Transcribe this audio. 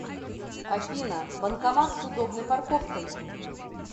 афина банкомат с удобной парковкой